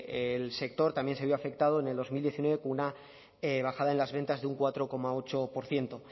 el sector también se vio afectado en dos mil diecinueve con una bajada en las ventas de un cuatro coma ocho por ciento